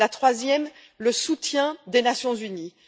la troisième, le soutien des Nations unies.